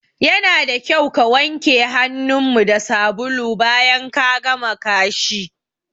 Yana da kyau ka wanke hanun mu da sabulu bayan ka gama kashi